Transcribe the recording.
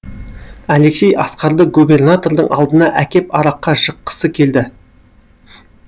алексей асқарды губернатордың алдына әкеп араққа жыққысы келді